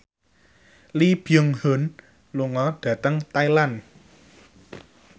Lee Byung Hun lunga dhateng Thailand